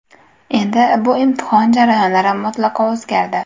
Endi bu imtihon jarayonlari mutlaqo o‘zgardi.